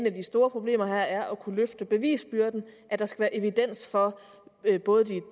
af de store problemer her er at kunne løfte bevisbyrden at der skal være evidens for både